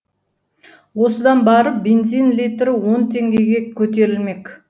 осыдан барып бензин литрі он теңгеге көтерілмек